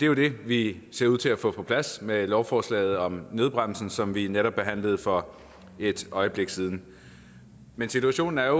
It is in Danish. jo det vi ser ud til at få på plads med lovforslaget om nødbremsen som vi netop behandlede for et øjeblik siden men situationen er